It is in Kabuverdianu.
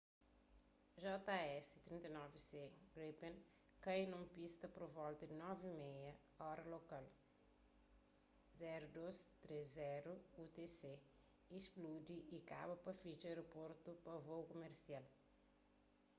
jas 39c gripen kai nun pista pur volta di 9:30 óra lokal 0230 utc y spludi y kaba pa fitxa aerportu pa vôu kumersial